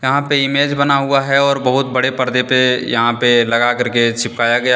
यहां पे इमेज बना हुआ है और बहुत बड़े पर्दे पे यहां पे लगा करके चिपकाया गया --